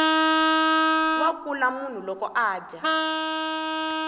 wa kula loko munhu adya